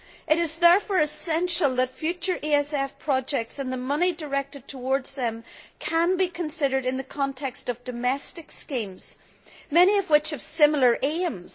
It is therefore essential that future ESF projects and the money directed towards them can be considered in the context of domestic schemes, many of which have similar aims.